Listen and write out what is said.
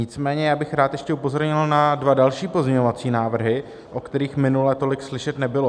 Nicméně já bych rád ještě upozornil na dva další pozměňovací návrhy, o kterých minule tolik slyšet nebylo.